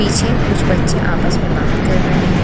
पीछे कुछ बच्चे आपस में बात कर रहे हैं।